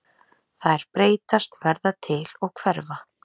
Þær breytast, verða til og hverfa.